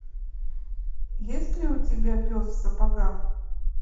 есть ли у тебя пес в сапогах